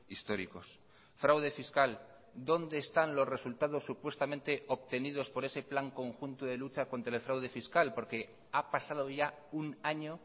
históricos fraude fiscal dónde están los resultados supuestamente obtenidos por ese plan conjunto de lucha contra el fraude fiscal porque ha pasado ya un año